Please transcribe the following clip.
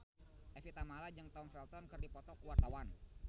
Evie Tamala jeung Tom Felton keur dipoto ku wartawan